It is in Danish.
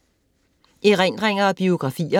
Erindringer og biografier